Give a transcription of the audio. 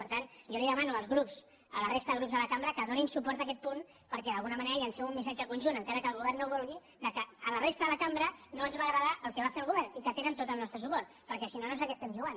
per tant jo els demano als grups a la resta de grups de la cambra que donin suport a aquest punt perquè d’alguna manera llancem un missatge conjunt encara que el govern no ho vulgui que a la resta de la cambra no ens va agradar el que va fer el govern i que tenen tot el nostre suport perquè si no no sé a què estem jugant